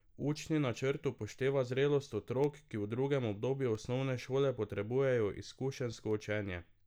Učni načrt upošteva zrelost otrok, ki v drugem obdobju osnovne šole potrebujejo izkušenjsko učenje.